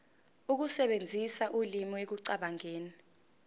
ukusebenzisa ulimi ekucabangeni